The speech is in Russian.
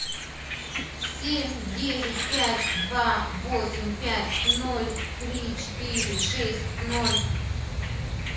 семь девять пять два восемь пять ноль три четыре шесть ноль